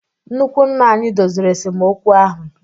Nnukwu nna anyị doziri esemokwu ahụ.